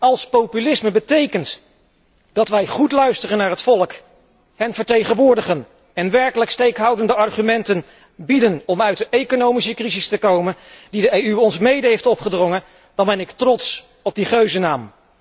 Als populisme betekent dat wij goed luisteren naar het volk, hen vertegenwoordigen en werkelijk steekhoudende argumenten bieden om uit de economische crisis te komen, die de EU ons mede heeft opgedrongen, dan ben ik trots op die geuzennaam.